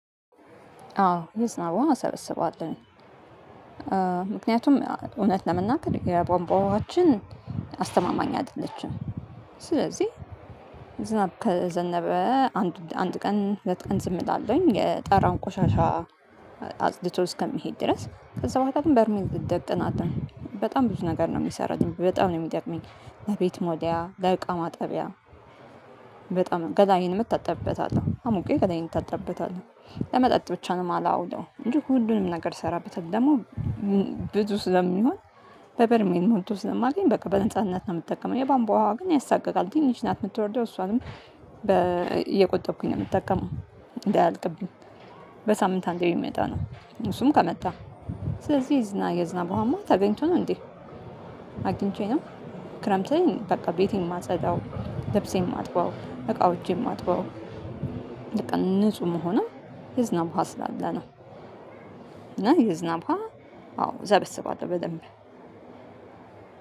አዎ ይስናዋ አሰብስባለሁኝ። ምክንያቱም እውነት ለመናገር የቧንቧ ውሃችን አስተማማኝ አይደለችም። ስለዚህ ዝናብ ከዘነበ አንድ አንድ ቀን ሁለት ቀን ዝም እላለሁኝ የጠራውን ቆሻሻ። አጽድቶ እስከሚሄድ ድረስ ከዛ በኋላ ግን በርሜን እደቅናለሁኝ በጣም ብዙ ነገር ነው የሚሰራው በጣም ነው የሚጠቅመኝ። ለቤት መወልወያ ለእቃ ማጠቢያ። በጣም ገላዬንም እታጠብበታለሁ አሙቂ ገላዬን እታጠብበታለሁ ለመጠጥ ብቻ ነው የማላውለው እንጂ ሁሉንም ነገር እሰራበታለሁ። ደግሞ። ብዙ ስለሚሆን በበርሜል ሞልቶ ስለማየኝ በቃ በነጻነት ነው የምጠቀመው የባንቧ ውሃ ያሳቅቃል ትንሽ ናት የምትወርደው እሷንም እየቆጠብኩኝ ነው የምጠቀመው። እንዳይልቅብኝ። በሳምንት አንዴ ብመጣ ነው። እሱም ከመጣ። ስለዚህ የዝና የዝናብ ውሃማ ተገኝቶ ነው እንዴ? አግኝቼ ነው። ክረምት ላይ በቃ ቤቴን የማፅዳው ልብሴን የማጥበው እቃዎችን የማጥበው። ንጹህ ምሆነው የዝናብ ውሃ ስላለ ነው። እና የዝናብ ውሃ አዎ እሰበስባለሁ በደንብ።